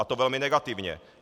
A to velmi negativně.